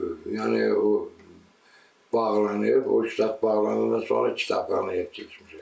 O yəni o bağlanıb, o kitab bağlanandan sonra kitabxanaya keçmişəm.